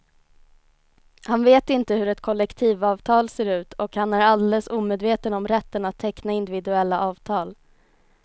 Han vet inte hur ett kollektivavtal ser ut och han är alldeles omedveten om rätten att teckna individuella avtal.